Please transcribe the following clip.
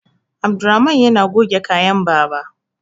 Abdulrahaman yana goge kayan baba